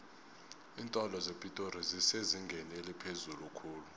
iintolo zepitori zisezingeni eliphezulu khulu